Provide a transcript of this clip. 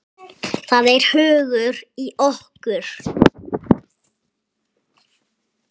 Það er hugur í okkur.